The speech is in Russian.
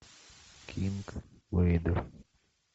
кинг вейдер